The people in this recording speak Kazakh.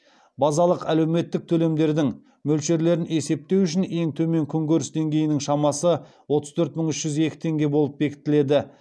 базалық әлеуметтік төлемдердің мөлшерлерін есептеу үшін ең төмен күнкөріс деңгейінің шамасы отыз төрт мың үш жүз екі теңге болып бекітіледі